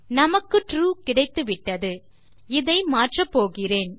நமக்கு ட்ரூ கிடைத்துவிட்டது இதை மாற்றப் போகிறேன்